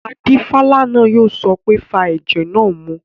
Adífálà náà yóò sọ pé "fa ẹ̀jẹ̀ náà mu!"